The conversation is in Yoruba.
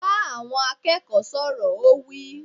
Bá àwọn akẹ́kọ̀ọ́ sọ̀rọ̀! Ó wí.